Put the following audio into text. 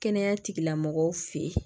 Kɛnɛya tigilamɔgɔw fɛ yen